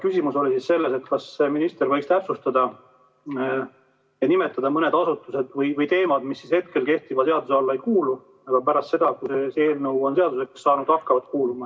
Küsimus oli selles, kas minister võiks täpsustada ja nimetada mõne asutuse või teema , mis hetkel kehtiva seaduse alla ei kuulu, aga pärast seda, kui see eelnõu on seaduseks saanud, hakkab kuuluma.